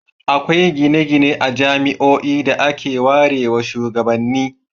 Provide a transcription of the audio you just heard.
Akwai gine-gine a jami'oi da aka warewa shugabanni.